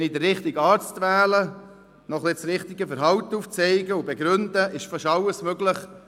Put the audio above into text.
Wenn ich den richtigen Arzt wähle, noch ein wenig das richtige Verhalten aufzeige und begründe, ist fast alles möglich.